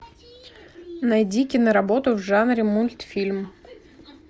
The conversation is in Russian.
найди киноработу в жанре мультфильм